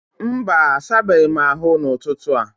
Mba, asabeghị m ahụ n'ụtụtụ a